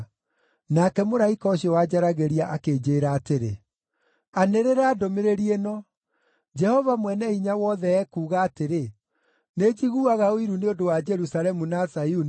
Nake mũraika ũcio wanjaragĩria akĩnjĩĩra atĩrĩ, “Anĩrĩra ndũmĩrĩri ĩno: Jehova Mwene-Hinya-Wothe ekuuga atĩrĩ, ‘Nĩnjiguaga ũiru nĩ ũndũ wa Jerusalemu na Zayuni,